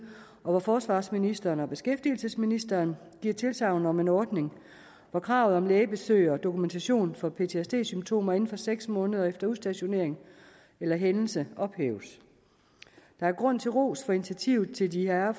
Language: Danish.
og hvor forsvarsministeren og beskæftigelsesministeren giver tilsagn om en ordning der at kravet om lægebesøg og dokumentation for ptsd symptomer inden for seks måneder efter udstationering eller hændelse ophæves der er grund til ros for initiativet til de herrer